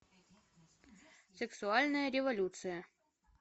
сексуальная революция